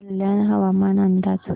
कल्याण हवामान अंदाज